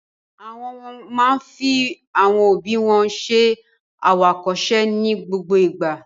Àwọn máa fi àwọn òbí wọn ṣẹ àwòkọ́ṣe ní gbogbo ìgbà.